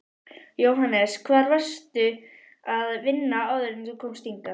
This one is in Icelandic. Jóhannes: Hvar varstu að vinna áður en þú komst hingað?